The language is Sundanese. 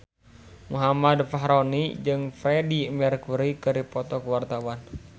Muhammad Fachroni jeung Freedie Mercury keur dipoto ku wartawan